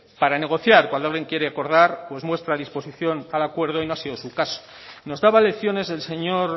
para negociar cuando alguien quiere acordar pues muestra disposición al acuerdo y no ha sido su caso nos daba lecciones el señor